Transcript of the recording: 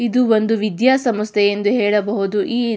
ಇದು ಒಂದು ವಿದ್ಯಾ ಸಮಸ್ಥೆ ಎಂದು ಹೇಳಬಹುದು ಈ --